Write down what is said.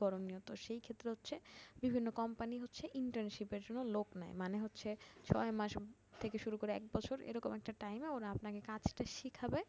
করনীয়। তো সেই ক্ষেত্রে হচ্ছে বিভিন্ন company হচ্ছে internship এর জন্য লোক নেয় মানে হচ্ছে, ছয় মাস থেকে শুরু করে এক বছর এরকম একটা time এ ওরা আপনাকে কাজটা শিখাবে,